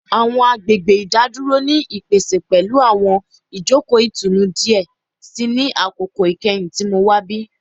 Awọn agbegbe idaduro ni ipese pẹlu awọn ijoko itunu diẹ sii ni akoko ikẹhin ti Mo wa nibi